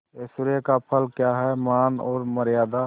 ऐश्वर्य का फल क्या हैमान और मर्यादा